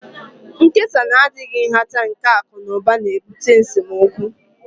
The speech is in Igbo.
Nkesa na-adịghị nhata nke akụ na ụba na-ebute n'esemokwu